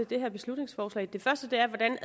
det her beslutningsforslag den første er hvordan